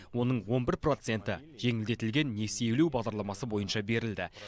оның он бір проценті жеңілдетілген несиелеу бағдарламасы бойынша берілді